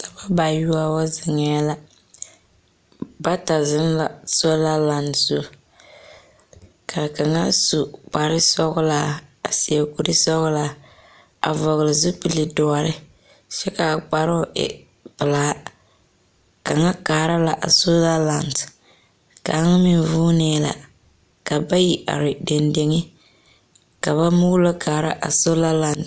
Daba bayoɔwo, zeŋɛɛ. Bata zeŋ la sola lan zu. Ka kaŋa su kparsɔglaa a seɛ kursɔglaa a vɔgle zupele doɔre kyɛ kaa kparoo e pelaa. kaŋa kaara la a sola lan. Kaŋ meŋ vuunee la. ka bayi are dendeŋe ka ba moolɔ kaara a zola lan.